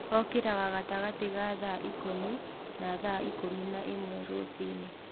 Okĩraga gatagatĩ ga thaa ikũmi na thaa ikũmi ba ĩmwe rũcini.